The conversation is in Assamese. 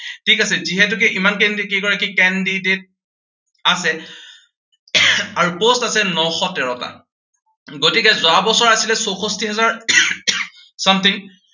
ঠিক আছে, যিহেতুকে ইমান কেইগৰাকী candidate আছে আৰু post আছে নশ তেৰটা। গতিকে যোৱা বছৰ আছিলে চৌষষ্ঠি হাজাৰ something